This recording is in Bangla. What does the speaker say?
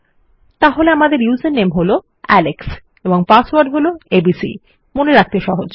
তাহলে আমাদের উসের নামে হলো আলেক্স এবং পাসওয়ার্ড হলো এবিসি মনে রাখতে সহজ